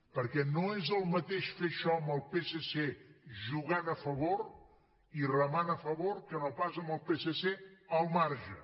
perquè no és el mateix fer això amb el psc jugant a favor i remant a favor que no pas amb el psc al marge